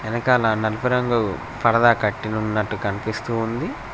వెనకాల నలుపు రంగు పరదా కట్టి ఉన్నట్టు కనిపిస్తూ ఉంది.